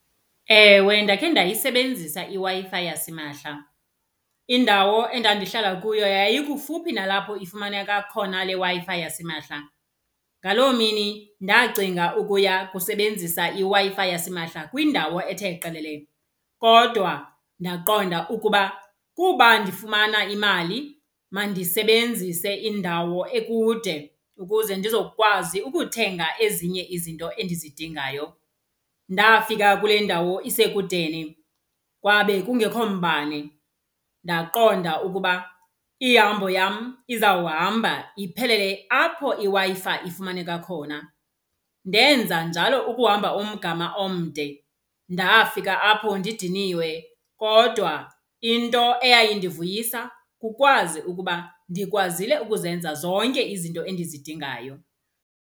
Ewe, ndakhe ndayisebenzisa iWi-Fi yasimahla. Indawo endandihlala kuyo yayikufuphi nalapho ifumaneka khona le Wi-Fi yasimahla. Ngaloo mini ndacinga ukuya kusebenzisa iWi-Fi yasimahla kwindawo ethe qelele. Kodwa ndaqonda ukuba kuba ndifumana imali mandisebenzise indawo ekude ukuze ndizokwazi ukuthenga ezinye izinto endizidingayo. Ndafika kule ndawo isekudeni kwabe kungekho mbane ndaqonda ukuba ihambo yam izawuhamba iphelele apho iWi-Fi ifumaneka khona. Ndenza njalo ukuhamba umgama omde, ndafika apho ndidiniwe kodwa into eyayindivuyiswa kukwazi ukuba ndikwazile ukuzenza zonke izinto endizidingayo.